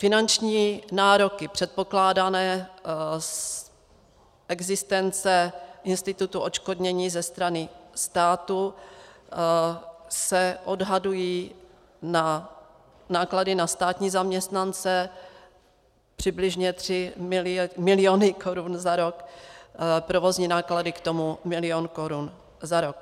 Finanční nároky předpokládané z existence institutu odškodnění ze strany státu se odhadují na náklady na státní zaměstnance přibližně tři miliony korun za rok, provozní náklady k tomu milion korun za rok.